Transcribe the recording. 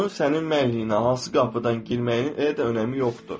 Onun sənin mənliyinə hansı qapıdan girməyinin elə də önəmi yoxdur.